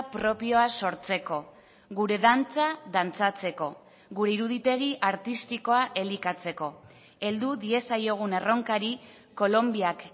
propioa sortzeko gure dantza dantzatzeko gure iruditegi artistikoa elikatzeko heldu diezaiogun erronkari kolonbiak